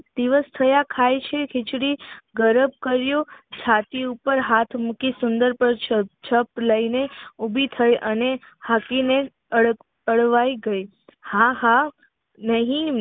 દિવસ થયા ખાય છે ખીચડી ગરમ કર્યો છાતી ઉપર હાથ મૂકી સુંદર છપ લઈને ઉભી થઈ અને હસી ને અળવાય ગઈ હા હા હિ